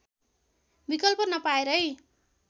विकल्प नपाएरै